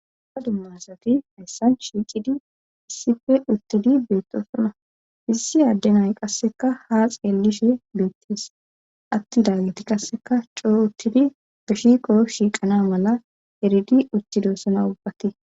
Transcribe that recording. aha dummasati hayssan shiicidi issife uttidi beettosona issi adde nay qasseka ha xeelishe beettes atti daageti qasseka coo uttidi be shiqo shiiqana mala eridi uttidossana ubbati